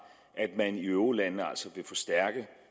at man i eurolandene altså vil forstærke